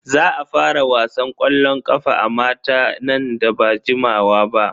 Za a fara wasan ƙwallon ƙafa a mata nan ba da jimawa ba.